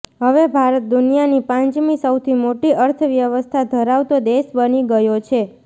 હવે ભારત દુનિયાની પાંચમી સૌથી મોટી અર્થવ્યવસ્થા ધરાવતો દેશ બની ગયો છે